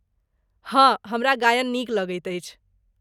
हँ, हमरा गायन नीक लगैत अछि।